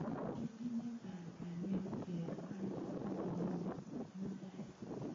Kitinye panganet kebwa kong'wong' mutai